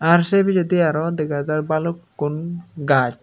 ar sei pijedi aro dega jar balukkun gaz.